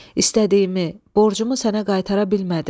İstədiyimi, borcumu sənə qaytara bilmədim.